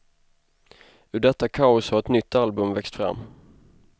Ur detta kaos har ett nytt album växt fram.